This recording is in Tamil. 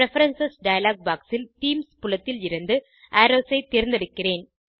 பிரெஃபரன்ஸ் டயலாக் பாக்ஸ் ல் தீம்ஸ் புலத்தில் இருந்து அரோவ்ஸ் ஐ தேர்ந்தெடுக்கிறேன்